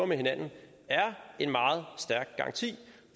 med hinanden en meget stærk garanti